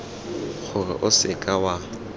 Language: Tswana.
gore o se ka wa